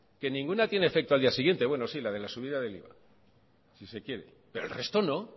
que ninguna tiene efecto al día siguiente bueno sí la de la subida del iva si se quiere pero el resto no